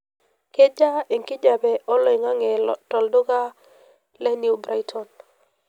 kejaa enkijape olaing'ange to lduka le new brighton pa